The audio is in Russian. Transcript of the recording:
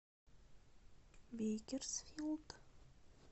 бейкерсфилд